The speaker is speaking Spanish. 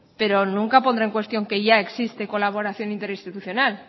pero nunca pondré en cuestión que ya existe colaboración interinstitucional